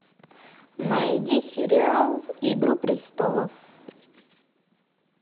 найди сериал игру престолов